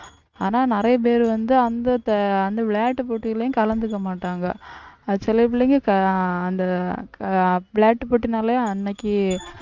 ஆனா நிறைய பேர் வந்து அந்த அந்த விளையாட்டுப் போட்டியிலயும் கலந்துக்க மாட்டாங்க சில பிள்ளைங்க அந்த விளையாட்டு போட்டினால அன்னைக்கு